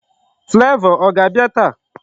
Flavor ọ ga-abịa taa?